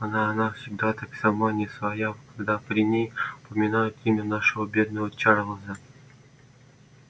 она она всегда так сама не своя когда при ней упоминают имя нашего бедного чарлза